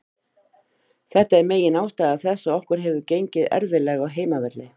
Þetta er megin ástæða þess að okkur hefur gengið erfiðlega á heimavelli.